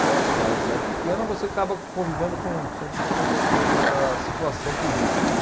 Então Atibaia é uma cidade pequena, você acaba convivendo com sempre com toda toda a situação política, né.